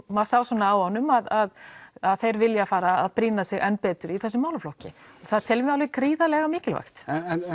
maður sá svona á honum að að þeir vilji fara að brýna sig enn betur í þessum málaflokki og það teljum við alveg gríðarlega mikilvægt